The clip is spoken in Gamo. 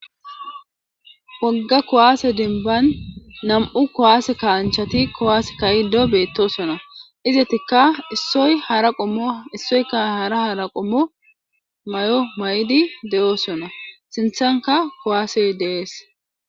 wogga kowaase denban nam7u kowaase kaanchati kowaase kayido beettosona izatikka issoy hara qommo issoyka hara hara qommo may7o may7di de7oosona sinthanka kuwaasey de'es